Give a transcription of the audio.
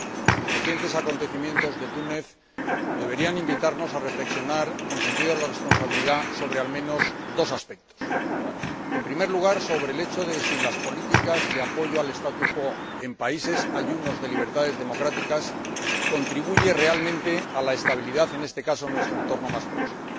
Señor Presidente, los recientes acontecimientos de Túnez deberían invitarnos a reflexionar con sentido de la responsabilidad sobre, al menos, dos aspectos. En primer lugar, sobre el hecho de si las políticas de apoyo al en países ayunos de libertades democráticas contribuye realmente a la estabilidad, en este caso, en nuestro entorno más próximo.